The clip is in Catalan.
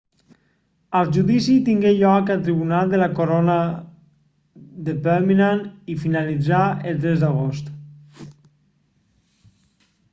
el judici tingué lloc al tribunal de la corona de birmingham i finalitzà el 3 d'agost